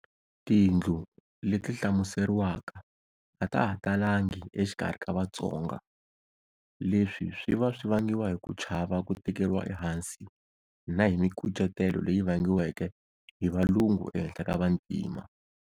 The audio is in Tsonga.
Tindlu leti hlamuseriwaka a ta ha talangi exikarhi ka Vatsonga, leswi swi va swi vangiwa hi ku chava ku tekeriwa ehansi na hi mikucetelo leyi vangiweke hi Valungu ehenhla ka Vantima.